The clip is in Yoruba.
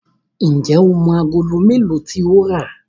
njé o mọ Àgòló melo tí o ń rá?